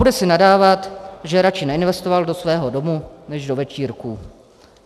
Bude si nadávat, že radši neinvestoval do svého domu než do večírků.